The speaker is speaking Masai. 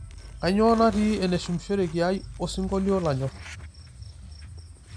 kainyio natii eneshumishoreki ai osingolio lanyor